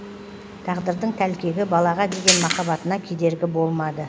тағдырдың тәлкегі балаға деген махаббатына кедергі болмады